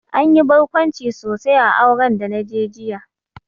Anyi barkwanci sosai a auren da naje jiya